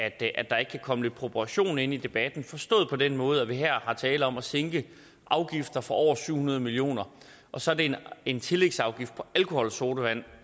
at der ikke kan komme lidt proportion ind i debatten forstået på den måde at der her er tale om at sænke afgifter for over syv hundrede million kr og så er det en tillægsafgift på alkoholsodavand